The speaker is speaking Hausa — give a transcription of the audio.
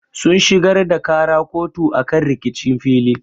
Sun shigar da ƙara kotu akan rikicin fili.